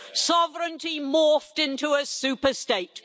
Sovereignty morphed into a superstate.